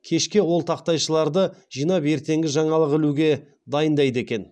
кешке ол тақтайшаларды жинап ертеңгі жаңалық ілуге дайындайды екен